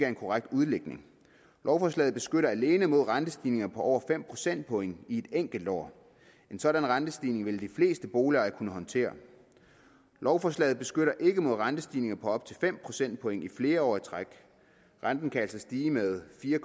en korrekt udlægning lovforslaget beskytter alene mod rentestigninger på over fem procentpoint i et enkelt år en sådan rentestigning vil de fleste boligejere kunne håndtere lovforslaget beskytter ikke mod rentestigninger på op til fem procentpoint i flere år i træk renten kan altså stige med fire